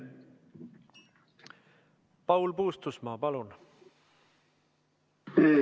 Paul Puustusmaa, palun!